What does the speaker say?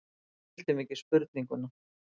Við skildum ekki spurninguna.